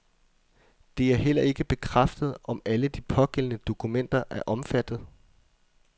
Det er heller ikke bekræftet, om alle de pågældende dokumenter er omfattet.